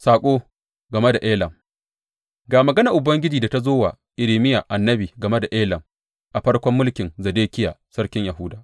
Saƙo game da Elam Ga maganar Ubangiji da ta zo wa Irmiya annabi game da Elam, a farkon mulkin Zedekiya sarkin Yahuda.